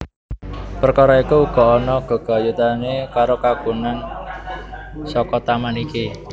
Perkara iku uga ana gegayutané karo kagunan saka taman iki